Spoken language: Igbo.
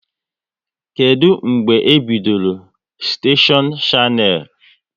Kedụ mgbe e bidoro steshion Shannel?